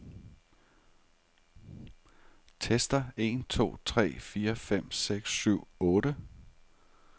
Tester en to tre fire fem seks syv otte.